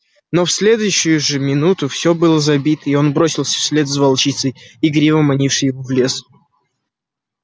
но в следующую же минуту все было забито и он бросился вслед за волчицей игриво манившей его в лес